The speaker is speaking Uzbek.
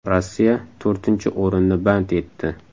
Rossiya to‘rtinchi o‘rinni band etdi.